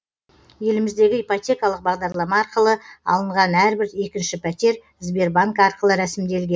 еліміздегі ипотекалық бағдарлама арқылы алынған әрбір екінші пәтер сбербанк арқылы рәсімделген